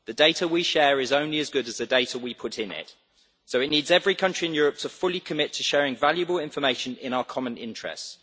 The data we share is only as good as the data we put in, so it needs every country in Europe to fully commit to sharing valuable information in our common interests.